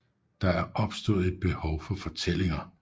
Der er opstået et behov for fortællinger